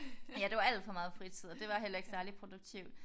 Ja det var alt for meget fritid og det var heller ikke særligt produktivt